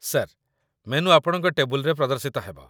Sir, menu ଆପଣଙ୍କ ଟେବୁଲ୍‌ରେ ପ୍ରଦର୍ଶିତ ହେବ।